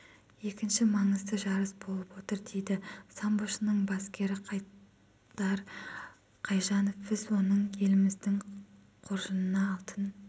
екінші маңызды жарыс болып отыр дейді самбошының бапкері қайдар қанжанов біз оның еліміздің қоржынына алтын